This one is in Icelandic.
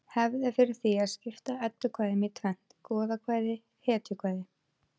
Hefð er fyrir því að skipta eddukvæðum í tvennt: goðakvæði hetjukvæði